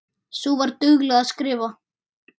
Sú var dugleg að skrifa.